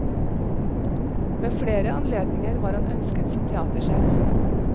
Ved flere anledninger var han ønsket som teatersjef.